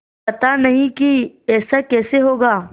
पता नहीं कि ऐसा कैसे होगा